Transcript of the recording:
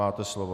Máte slovo.